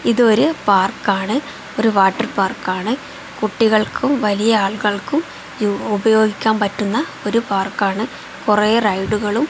ഇതൊരു പാർക്ക് ആണ് ഒരു വാട്ടർ പാർക്ക് ആണ് കുട്ടികൾക്കും വലിയ ആളുകൾക്കും ഉപയോഗിക്കാൻ പറ്റുന്ന ഒരു പാർക്ക് ആണ് കുറെ റൈഡുകളും --